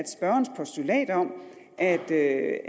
spørgerens postulat om at at